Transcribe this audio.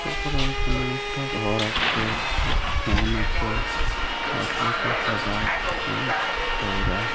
তারপর এইখানে একটা ঘর আছে একটা ফ্যান আছে তাস গুলো সব সাদা অ্যা খয়রা ।